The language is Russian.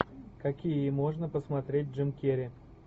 какие можно посмотреть джим керри